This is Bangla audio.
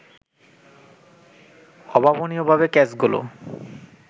অভাবনীয়ভাবে ক্যাচগুলো